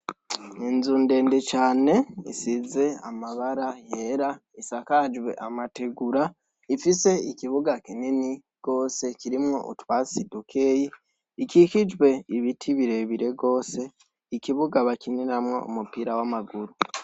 Inzu ndende cane isize amabara yera isakajwe amategura, ifise ikibuga kinini gose kirimwo utwatsi dukeyi, ikikijwe ibiti birebire gose, ikibuga bakiniramwo umupira w’amaguru.